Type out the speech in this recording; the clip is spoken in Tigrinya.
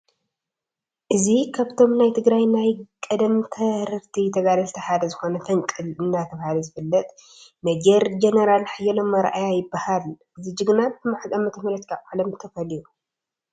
እዚ ካብቶም ናይ ትግራይ ናይ ቀደም ተረርቲ ተጋልቲ ሓደ ዝኾነ ፈንቅል እንዳተባህለ ዝፍለጥ ሜ/ጀ/ ሓየሎም ኣርኣያ ይባሃል፡፡ እዚ ጅግና ብመዓዝ ዓ/ም ካብ ዓለም ተፈልዩ?